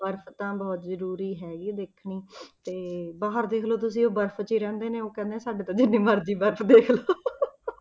ਬਰਫ਼ ਤਾਂ ਬਹੁਤ ਜ਼ਰੂਰੀ ਹੈਗੀ ਦੇਖਣੀ ਤੇ ਬਾਹਰ ਦੇਖ ਲਓ ਤੁਸੀਂ ਉਹ ਬਰਫ਼ 'ਚ ਹੀ ਰਹਿੰਦੇ ਨੇ ਉਹ ਕਹਿੰਦੇ ਨੇ ਸਾਡੇ ਤਾਂ ਜਿੰਨੀ ਮਰਜ਼ੀ ਬਰਫ਼ ਦੇਖ ਲਓ